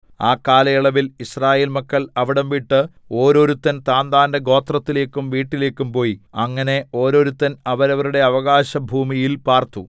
ആ കാലയളവിൽ യിസ്രായേൽ മക്കൾ അവിടംവിട്ട് ഓരോരുത്തൻ താന്താന്റെ ഗോത്രത്തിലേക്കും വീട്ടിലേക്കും പോയി അങ്ങനെ ഓരോരുത്തൻ അവരവരുടെ അവകാശഭൂമിയിൽ പാർത്തു